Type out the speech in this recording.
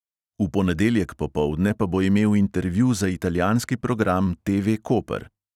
V ponedeljek popoldne pa bo imel intervju za italijanski program TV koper.